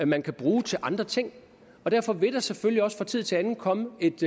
man kan bruge til andre ting derfor vil der selvfølgelig også fra tid til anden komme